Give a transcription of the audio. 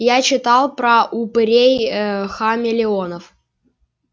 я читала про упырей-хамелеонов